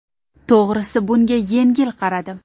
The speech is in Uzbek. To‘g‘risi bunga yengil qaradim.